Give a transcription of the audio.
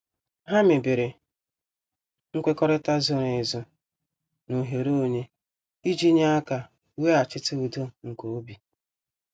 Ha mebere nkwekọrịta zoro ezo na oghere onye, iji nye aka weghachite udo nke obi.